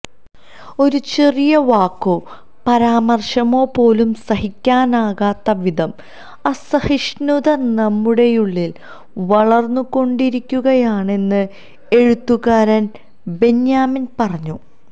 ഒരു ചെറിയ വാക്കോ പരാമർശമോ പോലും സഹിക്കാനാകാത്ത വിധം അസഹിഷ്ണുത നമ്മുടെയുള്ളിൽ വളർന്നുകൊണ്ടിരിക്കുകയാണെന്ന് എഴുത്തുകാരൻ ബെന്യാമിൻ പറഞ്ഞു